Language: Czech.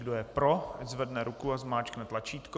Kdo je pro, ať zvedne ruku a zmáčkne tlačítko.